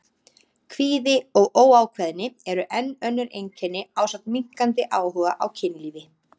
Kvíði og óákveðni eru enn önnur einkenni ásamt minnkandi áhuga á kynlífi.